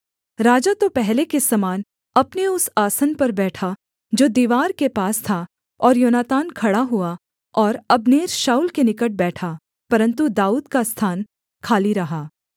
राजा तो पहले के समान अपने उस आसन पर बैठा जो दीवार के पास था और योनातान खड़ा हुआ और अब्नेर शाऊल के निकट बैठा परन्तु दाऊद का स्थान खाली रहा